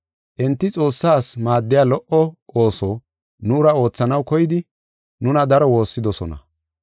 Enti Xoossa ase maaddiya lo77o ooso nuura oothanaw koydi nuna daro woossidosona.